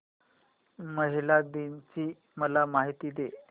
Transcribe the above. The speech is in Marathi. महिला दिन ची मला माहिती दे